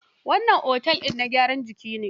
Wani otel din na gyaran jiki ne.